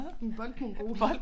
En boldmongol